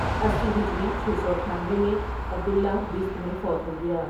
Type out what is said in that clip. اسی ہجری چھ سو اٹھانوے میں عبد اللہ بست میں فوت ہو گیا۔